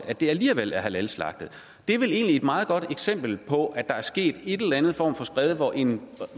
at det alligevel er halalslagtet det er vel egentlig et meget godt eksempel på at der er sket en eller anden form for skred hvor en